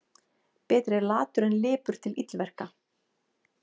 Betri er latur en lipur til illverka.